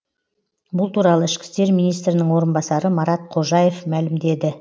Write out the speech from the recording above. бұл туралы ішкі істер министрінің орынбасары марат қожаев мәлімдеді